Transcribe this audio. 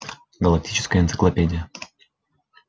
галактическая энциклопедия